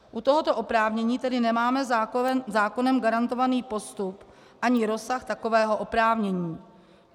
U tohoto oprávnění tedy nemáme zákonem garantovaný postup ani rozsah takového oprávnění.